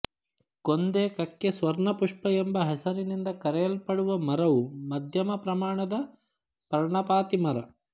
ಕೊಂದೆ ಕಕ್ಕೆ ಸ್ವರ್ಣಪುಷ್ಪ ಎಂಬ ಹೆಸರಿನಿಂದ ಕರೆಯಲ್ಪಡುವ ಮರವು ಮಧ್ಯಮ ಪ್ರಮಾಣದ ಪರ್ಣಪಾತಿ ಮರ